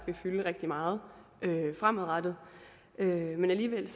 vil fylde rigtig meget fremadrettet men alligevel